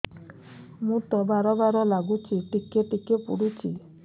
ମୁତ ବାର୍ ବାର୍ ଲାଗୁଚି ଟିକେ ଟିକେ ପୁଡୁଚି